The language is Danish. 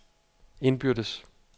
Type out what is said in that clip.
indbyrdes